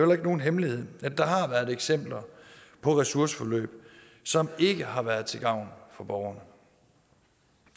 er nogen hemmelighed at der har været eksempler på ressourceforløb som ikke har været til gavn for borgerne